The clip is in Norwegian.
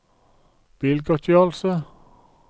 bilgodtgjørelse